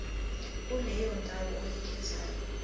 kuleyo ndawo oyikhethayo